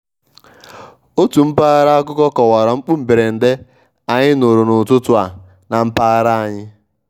otu mpaghra akụkọ kọwara mkpu mberede anyị nụrụ n'ụtụtụ a na mpaghara anyị.